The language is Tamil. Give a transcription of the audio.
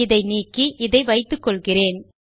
இதை நீக்கி இதை வைத்துக்கொள்கிறேன்